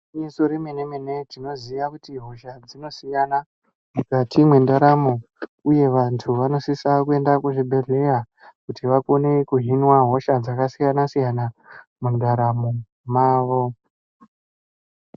Gwinyiso remene mene tinoziya kuti hosha dzinosiyana mukati mwendaramo uye vantu vanosisa kuenda kuzvibhedhleya kuti vakone kuhinwa hosha dzakasiyana siyana mundaramo mwavo.